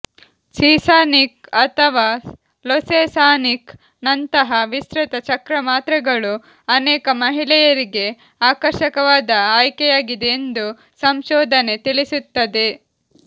ಸೀಸನಿಕ್ ಅಥವಾ ಲೊಸೆಸಾಸನಿಕ್ ನಂತಹ ವಿಸ್ತೃತ ಚಕ್ರ ಮಾತ್ರೆಗಳು ಅನೇಕ ಮಹಿಳೆಯರಿಗೆ ಆಕರ್ಷಕವಾದ ಆಯ್ಕೆಯಾಗಿದೆ ಎಂದು ಸಂಶೋಧನೆ ತಿಳಿಸುತ್ತದೆ